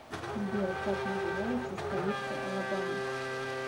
сбер как называется столица алабама